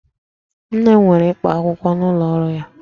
Nne m nwere ikpo akwụkwọ n'ụlọ ọrụ ya